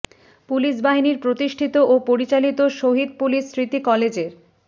police বাহিনীর প্রতিষ্ঠিত ও পরিচালিত শহীদ পুলিশ স্মৃতি কলেজের